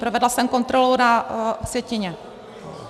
Provedla jsem kontrolu na sjetině.